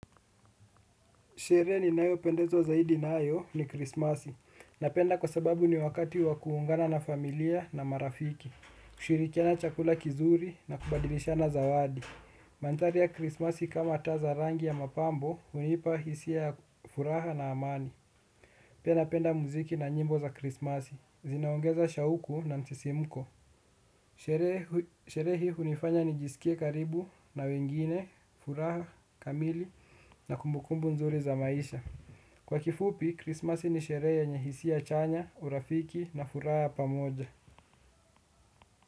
Sherehe ninayo pendezwa zaidi nayo ni krismasi. Napenda kwa sababu ni wakati wakuungana na familia na marafiki. Kushirikena chakula kizuri na kubadilishana zawadi. Manthari ya krismasi kama taa za rangi ya mapambo, hunipa hisia ya furaha na amani. Pia napenda muziki na nyimbo za krismasi. Zinaongeza shauku na msisimuko. Sherehe hii unifanya nijisikie karibu na wengine, furaha, kamili na kumbukumbu nzuri za maisha. Kwa kifupi, Christmas ni sherehe yenye hisia chanya, urafiki na furah ya pamoja.